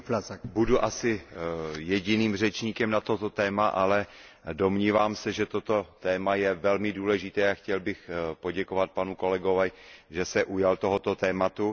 Pane předsedající, budu asi jediným řečníkem na toto téma, ale domnívám se, že toto téma je velmi důležité, a chtěl bych poděkovat panu kolegovi, že se ujal tohoto tématu.